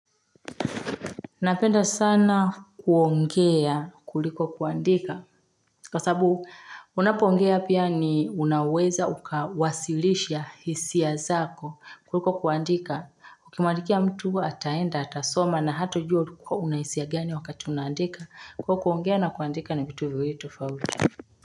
Napenda sana kuongea kuliko kuandika Kwa sababu, unapoongea pia ni unaweza ukawasilisha hisia zako kuliko kuandika Ukimwandikia mtu, ataenda, atasoma na hatajua kuwa una hisia gani wakati unaandika Kwa hivyo kuongea na kuandika ni vitu viwili tofauti.